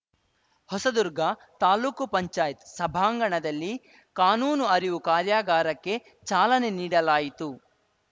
ಹೊಸದುರ್ಗ ತಾಲೂಕ್ ಪಂಚಾಯತ್ ಸಭಾಂಗಣದಲ್ಲಿ ಕಾನೂನು ಅರಿವು ಕಾರ್ಯಾಗಾರಕ್ಕೆ ಚಾಲನೆ ನೀಡಲಾಯಿತು